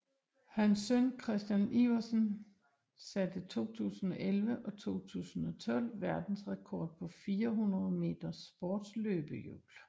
Hans søn Christian Iversen satte 2011 og 2012 verdensrekord på 400 meter sportsløbehjul